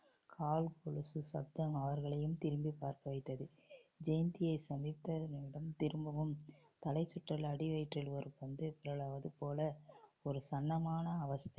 கால் கொலுசு சத்தம் அவர்களையும் திரும்பிப் பார்க்க வைத்தது ஜெயந்தியை சந்தித்த நிமிடம் திரும்பவும் தலைசுற்றல் அடிவயிற்றில் ஒரு பந்து பிறழ்வது போல ஒரு சன்னமான அவஸ்தை